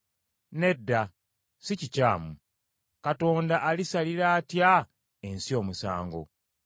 Nedda, sikikyamu. Katonda alisalira atya ensi omusango?